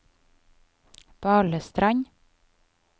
Balestrand